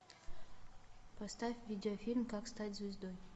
поставь видеофильм как стать звездой